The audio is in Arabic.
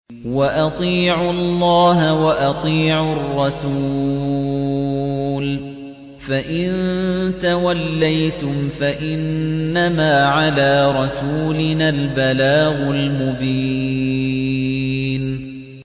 وَأَطِيعُوا اللَّهَ وَأَطِيعُوا الرَّسُولَ ۚ فَإِن تَوَلَّيْتُمْ فَإِنَّمَا عَلَىٰ رَسُولِنَا الْبَلَاغُ الْمُبِينُ